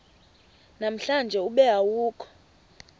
namhlanje ube awukho